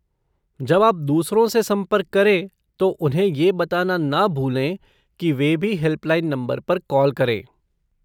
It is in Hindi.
जब आप दूसरों से संपर्क करें तो उन्हें ये बताना ना भूलें की वे भी हेल्पलाइन नंबर पर कॉल करें।